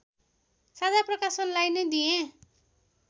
साझा प्रकाशनलाई नै दिएँ